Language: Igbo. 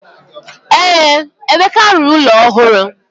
Ee, Emeka rụrụ ụlọ ọhụrụ.